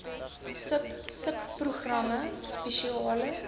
sub subprogramme spesiale